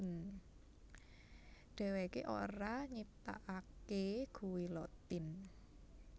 Dheweké ora nyiptakaké guillotine